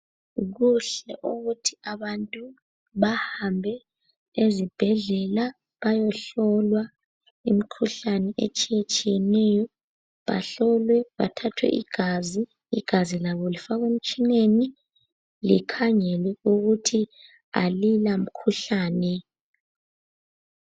Kuhle ukuthi abantu bahambe ezibhedlela bayohlolwa imkhuhlane etshiyetshiyeneyo bahlolwe bathathwe igazi, igazi labo lifakwe emtshineni likhangelwe ukuthi alila mkhuhlane.